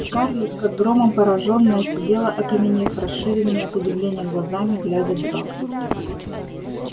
скарлетт как громом поражённая сидела окаменев расширенными от удивления глазами глядя в зал